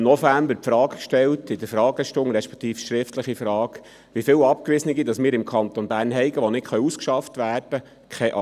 Im November stellte ich in der Fragestunde, respektive schriftlich, die Frage gestellt, wie viele Abgewiesene wir denn im Kanton Bern haben, die nicht ausgeschafft werden können.